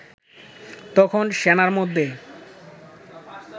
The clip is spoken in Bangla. তখন সেনার মধ্যে